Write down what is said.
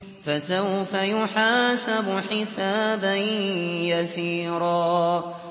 فَسَوْفَ يُحَاسَبُ حِسَابًا يَسِيرًا